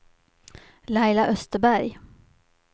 Laila Österberg